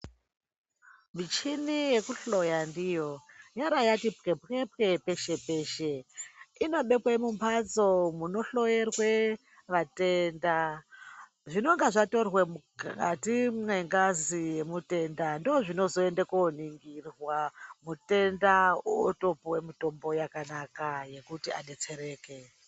Michini yekuhloya ndiyo yara yati pwepwe pwepwe peshe peshe inobekwe mumhatso munohloyerwe vatenda zvinenge zvatorwe mukati mwengazi yemutenda ndozvinozoende koningirwa mutenda otopuwe mutombo yakanaka yekuti adetsereke.